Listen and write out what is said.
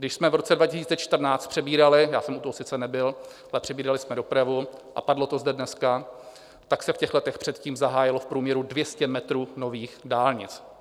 Když jsme v roce 2014 přebírali - já jsem u toho sice nebyl, ale přebírali jsme dopravu, a padlo to zde dneska, tak se v těch letech předtím zahájilo v průměru 200 metrů nových dálnic.